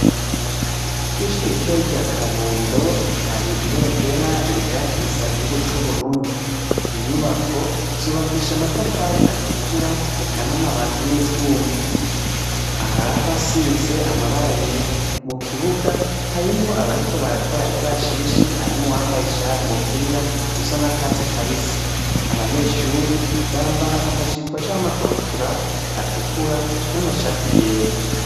Kw'ishure ritoyi rya Kabondo, har'ibendera rihayagiza igihugu c'Uburundi. Inyubo zubakishe amatafari atukura eka n'amati n'ivyuma. Ahar'ahasize amabara yera. Mu kibuga harimwo abariko barakora ikarashishi, harimwo uwambaye umupira usa n'akatsi kabisi. Abanyeshuri bambara amajipo canke ama kabutura atukura n'amashati yera.